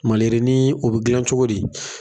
Maliyirinin o bɛ gilani cogo di?